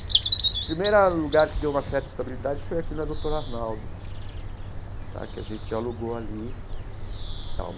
O primeiro lugar que deu uma certa estabilidade foi aqui na Doutor Arnaldo tá, que a gente alugou ali tal.